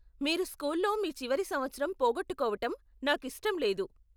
మీరు స్కూల్లో మీ చివరి సంవత్సరం పోగొట్టుకోవటం నాకు ఇష్టం లేదు.